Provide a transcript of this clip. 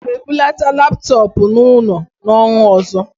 Aga m ebulata laptọọpụ n'ụlọ n'ọnwa ọzọ